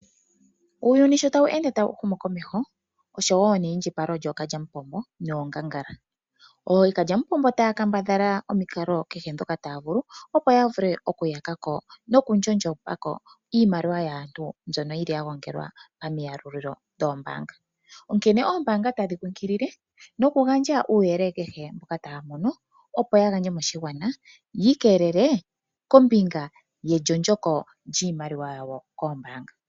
Uuyuni sho tawu ende tawu humu komeho oshowo neyindjipalo lyookalya mupombo noongangala. Ookalya mupombo taya kambadhala omikalo kehe ndhoka taya vulu, opo ya vule okuyaka ko nokundjondjomona ko iimaliwa yaantu mbyono yi li ya gongelwa pamiyalulililo dhoombanga, onkene ombaanga otadhi kunkilile noku gandja omauyelele kehe ngoka taya mono moshigwana yi ikelele kombinga yendjondjoko lyiimaliwa yawo koombaanga.